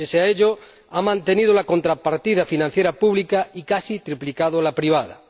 pese a ello, ha mantenido la contrapartida financiera pública y casi triplicado la privada.